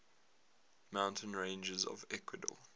mountain ranges of ecuador